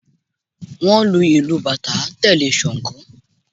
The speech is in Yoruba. Wọ́n ń lu ìlù bàtá tẹ̀lé Ṣangó